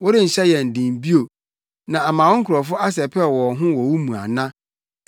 Worenhyɛ yɛn den bio, na ama wo nkurɔfo asɛpɛw wɔn ho wɔ wo mu ana?